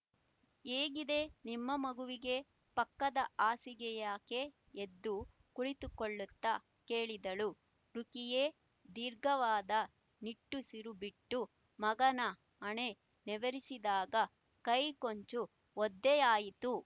ಹೇಗಿದೆ ನಿಮ್ಮ ಮಗುವಿಗೆ ಪಕ್ಕದ ಹಾಸಿಗೆಯಾಕೆ ಎದ್ದು ಕುಳಿತುಕೊಳ್ಳುತ್ತಾ ಕೇಳಿದಳು ರುಖಿಯೆ ದೀರ್ಘವಾದ ನಿಟ್ಟುಸಿರು ಬಿಟ್ಟು ಮಗನ ಹಣೆ ನೇವರಿಸಿದಾಗ ಕೈ ಕೊಂಚ ಒದ್ದೆಯಾಯಿತು